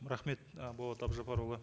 рахмет ы болат абжаппарұлы